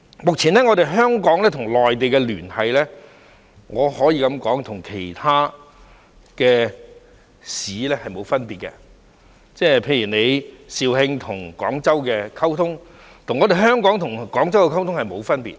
目前，香港與內地的連繫可以說與其他內地城市沒有分別，例如肇慶和廣州的溝通，與香港和廣州的溝通並沒有分別。